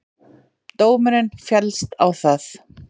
Dómurinn féllst á það